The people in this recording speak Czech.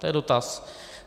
To je dotaz.